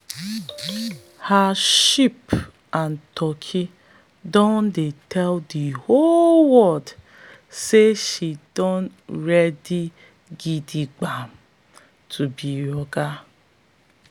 her sheep and turkey don tell the whole world say she don ready gidigba to be oga.